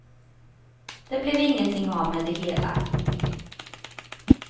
Det blev ingenting av med det hela.